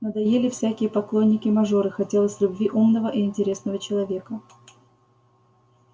надоели всякие поклонники-мажоры хотелось любви умного и интересного человека